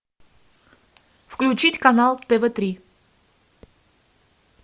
включить канал тв три